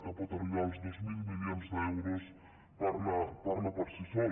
que pot arribar als dos mil milions d’euros parla per si sol